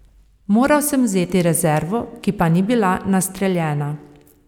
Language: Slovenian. Moral sem vzeti rezervno, ki pa ni bila nastreljena.